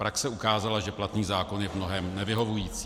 Praxe ukázala, že platný zákon je v mnohém nevyhovující.